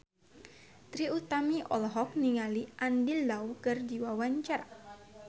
Trie Utami olohok ningali Andy Lau keur diwawancara